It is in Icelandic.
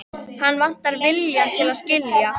Hann vantar viljann til að skilja.